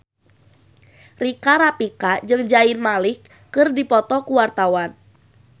Rika Rafika jeung Zayn Malik keur dipoto ku wartawan